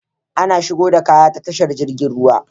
Ana shigo da kaya ta tashar jirgin ruwa